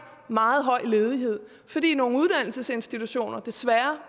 meget høj ledighed fordi nogle uddannelsesinstitutioner desværre